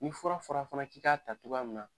Ni fura fɔra fana k’i ka ta togo min n’a